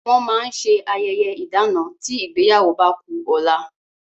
Wọn máa ń ṣe ayẹyẹ ìdana tí ìgbéyàwó bá ku ọ̀la